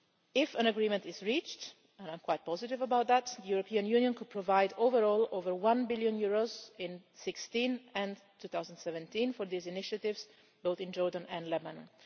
If an agreement is reached, and I am quite positive about that, the European Union could provide overall over EUR 1 billion in 2016 and 2017 for these initiatives, both in Jordan and Lebanon.